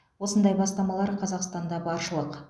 осындай бастамалар қазақстанда баршылық